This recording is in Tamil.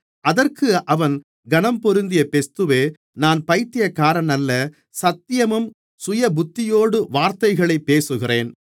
அதற்கு அவன் கனம்பொருந்திய பெஸ்துவே நான் பயித்தியக்காரனல்ல சத்தியமும் சுயபுத்தியோடு வார்த்தைகளைப் பேசுகிறேன்